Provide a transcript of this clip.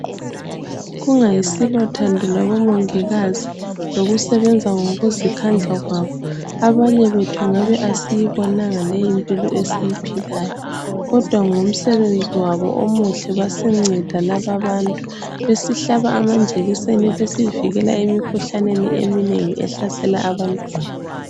kungayisilo thando lwabo mongikazi lokusebenza ngokuzikhandla kwabo abanye bethu ngabe kasisbonanga leyimpilo esiyiphilayo kodwa ngomsebenzi wabo omuhle basinceda laba abantu besihlaba amajekiseni besivikela emikhuhlaneni eminengi ehlasela abantwana